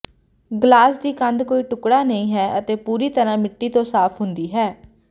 glass ਦੀ ਕੰਧ ਕੋਈ ਟੁਕੜਾ ਨਹੀਂ ਹੈ ਅਤੇ ਪੂਰੀ ਤਰ੍ਹਾਂ ਮਿੱਟੀ ਤੋਂ ਸਾਫ ਹੁੰਦੀ ਹੈ